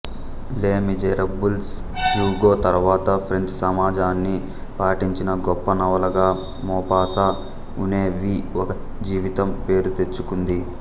లె Miserables Hugo తర్వాత French సమాజాన్ని పట్టించిన గొప్ప నవలగా మొపాసా ఉనె వి ఒక జీవితం పేరుతెచ్చుకుంది